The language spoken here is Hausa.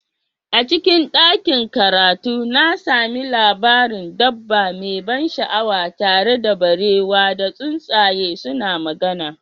A cikin ɗakin karatu, na sami labarin dabba mai ban sha'awa tare da beraye da tsuntsaye suke magana.